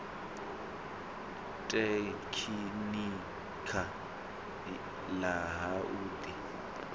tekhinikha ḽa ha u ḓi